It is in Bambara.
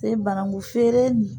banakun feere nin